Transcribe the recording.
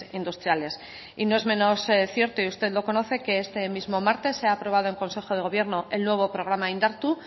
industriales y no es menos cierto y usted lo conoce que este mismo martes se ha aprobado en consejo de gobierno el nuevo programa indartu